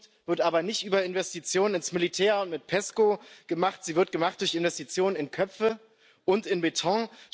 Zukunft wird aber nicht über Investitionen ins Militär und mit PESCO gemacht, sie wird gemacht durch Investitionen in Köpfe und in Beton.